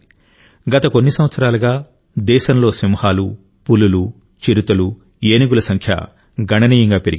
గత కొన్ని సంవత్సరాలుగా దేశంలో సింహాలు పులులు చిరుతలు ఏనుగుల సంఖ్య గణనీయంగా పెరిగింది